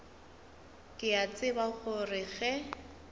ke a tseba gore ge